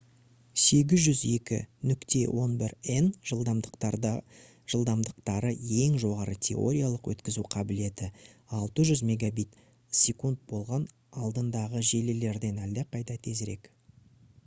802.11n жылдамдықтары ең жоғары теориялық өткізу қабілеті 600 мбит/с болған алдындағы желілерден әлдеқайда тезірек